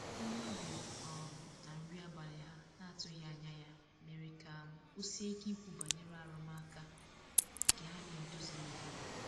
onye obia um na nri abali ha na atughi anya ya mere ka um osie ike Ikwu banyere arụmaka nke ha na edozilighi.